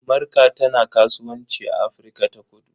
Marka tana kasuwanci a Afirka-ta-kudu.